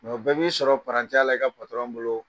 bɛɛ b'i sɔrɔ la i ka a bolo